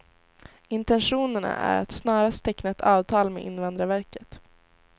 Intentionerna är att snarast teckna ett avtal med invandrarverket.